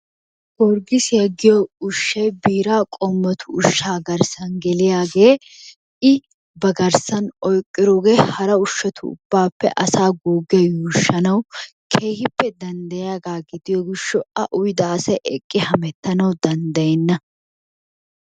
Gorggisiya giyo ushshay biiraa qommotu ushshaa garssan geliyagee I bagarssan oyiqqidoogee hara ushshatu ubbaappe asaa guuggiya yuushshanawu keehippe dandayiyaagaa gidiyo gishshawu a uyida asay eqqi hamettanawu danddayenna.